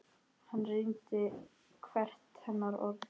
Hann reyndi hvert hennar orð.